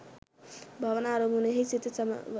භාවනා අරමුණෙහි සිත සමව